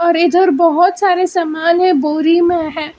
इधर बहुत सारे सामान है बोरी में है।